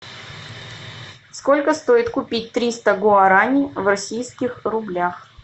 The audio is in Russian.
сколько стоит купить триста гуарани в российских рублях